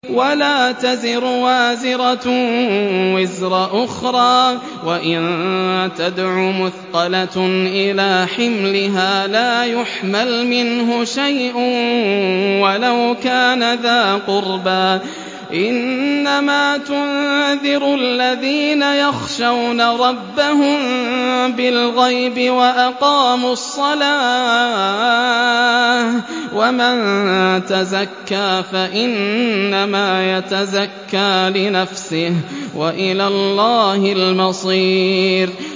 وَلَا تَزِرُ وَازِرَةٌ وِزْرَ أُخْرَىٰ ۚ وَإِن تَدْعُ مُثْقَلَةٌ إِلَىٰ حِمْلِهَا لَا يُحْمَلْ مِنْهُ شَيْءٌ وَلَوْ كَانَ ذَا قُرْبَىٰ ۗ إِنَّمَا تُنذِرُ الَّذِينَ يَخْشَوْنَ رَبَّهُم بِالْغَيْبِ وَأَقَامُوا الصَّلَاةَ ۚ وَمَن تَزَكَّىٰ فَإِنَّمَا يَتَزَكَّىٰ لِنَفْسِهِ ۚ وَإِلَى اللَّهِ الْمَصِيرُ